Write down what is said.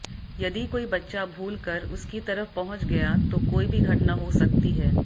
यदि कोई बच्चा भूलकर उसकी तरफ पहुंच गया तो कोई भी घटना हो सकती है